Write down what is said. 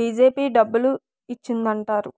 BJP డబ్బులు ఇచ్చిందంటారు